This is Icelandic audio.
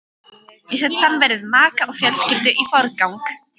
Ég set samveru við maka og fjölskyldu í forgang.